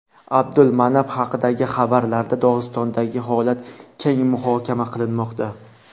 Abdulmanap haqidagi xabarlarda Dog‘istondagi holat keng muhokama qilinmoqda.